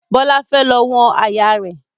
Bọlá fẹ́ lọ wọ̀n àyà rẹ̀